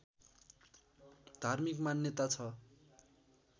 धार्मिक मान्यता छ